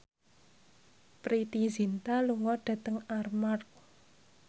Preity Zinta lunga dhateng Armargh